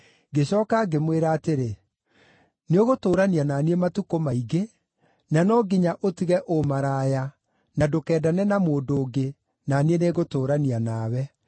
Ngĩcooka ngĩmwĩra atĩrĩ, “Nĩũgũtũũrania na niĩ matukũ maingĩ, na no nginya ũtige ũmaraya na ndũkendane na mũndũ ũngĩ, na niĩ nĩngũtũũrania nawe.”